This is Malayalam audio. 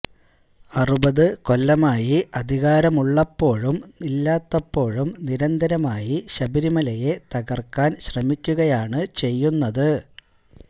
അറുപത് കൊല്ലമായി അധികാരമുള്ളപ്പോഴും ഇല്ലാത്തപ്പോഴും നിരന്തരമായി ശബരിമലയെ തകര്ക്കാന് ശ്രമിക്കുകയാണ് ചെയ്യുന്നത്